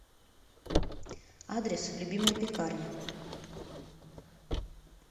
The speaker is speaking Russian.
адрес любимая пекарня